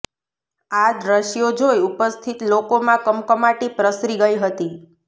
આ દ્રશ્યો જોઇ ઉપસ્થિત લોકોમાં કમકમાટી પ્રસરી ગઇ હતી